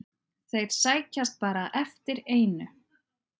Þeir sækjast bara eftir einu.